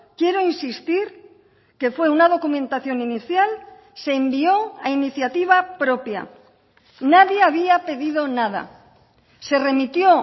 quiero insistir que fue una documentación inicial se envió a iniciativa propia nadie había pedido nada se remitió